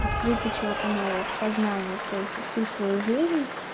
открытие чего-то нового в познании то есть всю свою жизнь